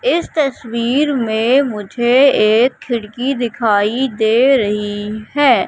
इस तस्वीर में मुझे एक खिड़की दिखाई दे रही है।